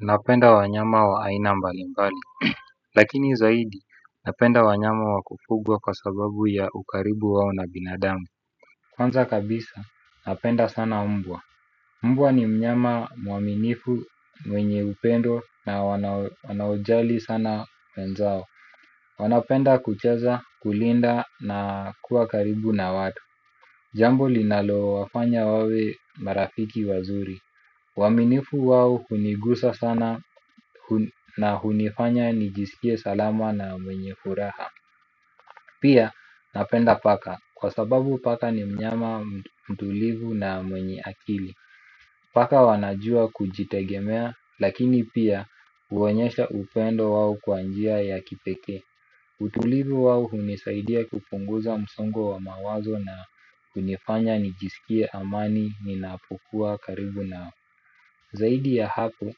Napenda wanyama wa aina mbalimbali, lakini zaidi napenda wanyama wa kufugwa kwa sababu ya ukaribu wao na binadamu. Kwanza kabisa napenda sana mbwa. Mbwa ni mnyama mwaminifu, mwenye upendo na wanaojali sana wenzao. Wanapenda kucheza, kulinda na kuwa karibu na watu. Jambo linalowafanya wawe marafiki wazuri. Uaminifu wao hunigusa sana na hunifanya nijisikie salama na mwenye furaha. Pia napenda paka kwa sababu paka ni mnyama mtulivu na mwenye akili. Paka wanajua kujitegemea lakini pia huonyesha upendo wao kwa njia ya kipekee. Utulivu wao hunisaidia kupunguza msongo wa mawazo na hunifanya nijisikie amani ninapokuwa karibu nao. Zaidi ya hapo,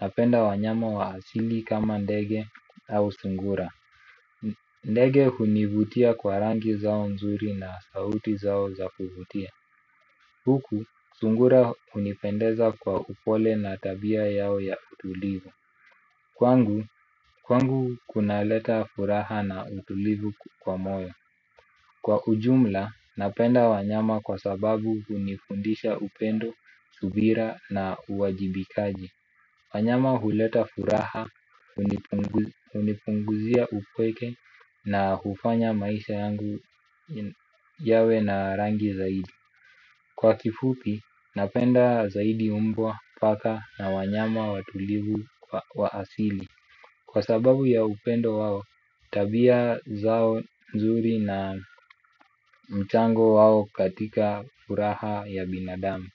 napenda wanyama wa asili kama ndege au sungura. Ndege hunivutia kwa rangi zao nzuri na sauti zao za kuvutia. Huku, sungura hunipendeza kwa upole na tabia yao ya utulivu. Kwangu, kwangu kuna leta furaha na utulivu kwa moyo. Kwa ujumla, napenda wanyama kwa sababu hunifundisha upendo, subira na uwajibikaji. Wanyama huleta furaha, hunipunguzia upweke na hufanya maisha yangu yawe na rangi zaidi. Kwa kifupi, napenda zaidi mbwa, paka na wanyama watulivu wa asili kwa sababu ya upendo wao, tabia zao nzuri na mchango wao katika furaha ya binadamu.